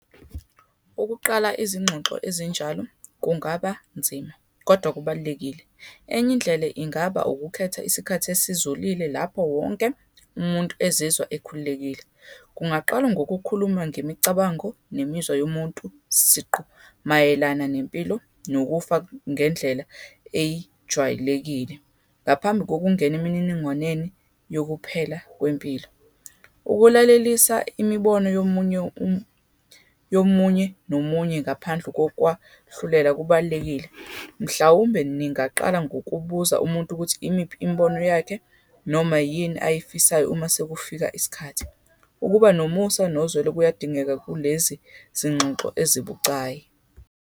Ukuqala izingxoxo ezinjalo kungaba nzima, kodwa kubalulekile. Enye indlela ingaba ukukhetha isikhathi esizolile, lapho wonke umuntu ezizwa ekhululekile. Kungaqalwa ngokukhuluma ngemicabango, nemizwa yomuntu siqu, mayelana nempilo, nokufa ngendlela eyijwayelekile, ngaphambi kokungena emininingwaneni yokuphela kwempilo. Ukulalelisa imibono yomunye yomunye nomunye ngaphandle kokwahlulela kubalulekile. Mhlawumbe, ningaqala ngokubuza umuntu ukuthi imiphi imibono yakhe, noma yini ayifisayo uma sekufika isikhathi. Ukuba nomusa, nozwelo kuyadingeka kulezi zingxoxo ezibucayi.